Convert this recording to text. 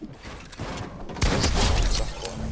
is ten opsigte